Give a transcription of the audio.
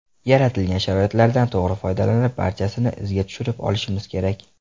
Yaratilgan sharoitlardan to‘g‘ri foydalanib, barchasini izga tushirib olishimiz kerak.